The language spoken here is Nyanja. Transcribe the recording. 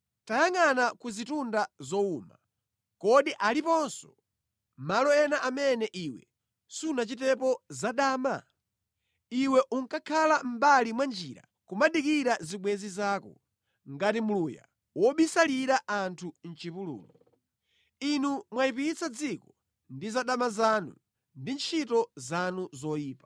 “Tayangʼana ku zitunda zowuma. Kodi aliponso malo ena amene iwe sunachitepo zadama? Iwe unkakhala mʼmbali mwa njira kumadikira zibwenzi zako, ngati Mluya wobisalira anthu mʼchipululu. Inu mwayipitsa dziko ndi zadama zanu ndi ntchito zanu zoyipa.